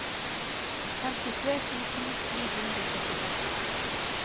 femtitre tusen ni hundre og syttiseks